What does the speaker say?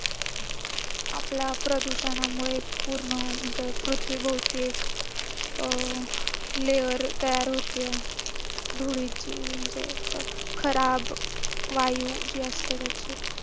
आपला प्रदूषणामुळे पूर्ण म्हणजे पृथ्वीभोवती एक अं layer तयार होते धुळीची म्हणजे असं खराब वायु जी असते त्याची.